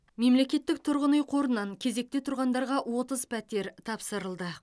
мемлекеттік тұрғын үй қорынан кезекте тұрғандарға отыз пәтер тапсырылды